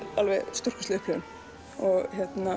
stórkostleg upplifun og